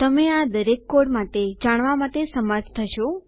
તમે આ દરેક કોડ માટે જાણવા માટે સમર્થ થશો